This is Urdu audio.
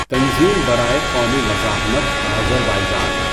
تنظیم برائے قومی مزاحمت آذربایجان